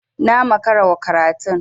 Na makara wa karatun.